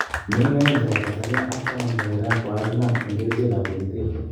Meng'ik 2 chebo Tanzania ak 10 chebo Iran kokakinam en kerichek ab bokitet